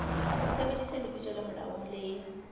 sebedisa lebitso le molaong le